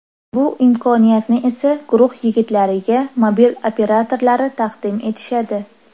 Bu imkoniyatni esa guruh yigitlariga mobil operatorlari taqdim etishadi.